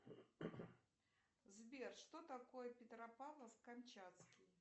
сбер что такое петропавловск камчатский